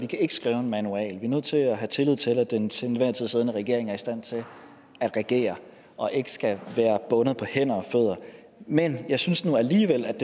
kan skrive en manual vi er nødt til at have tillid til at den til enhver tid siddende regering er i stand til at regere og ikke skal være bundet på hænder og fødder men jeg synes nu alligevel at